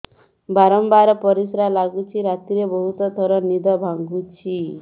ବାରମ୍ବାର ପରିଶ୍ରା ଲାଗୁଚି ରାତିରେ ବହୁତ ଥର ନିଦ ଭାଙ୍ଗୁଛି